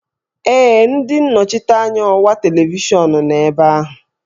Ee, ndị nnọchiteanya ọwa televishọn nọ ebe ahụ